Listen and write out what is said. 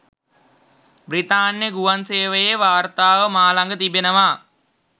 බ්‍රිතාන්‍ය ගුවන් සේවයේ වාර්තාව මා ළඟ තිබෙනවා.